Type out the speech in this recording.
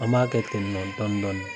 An b'a kɛ ten nɔn dɔni dɔni.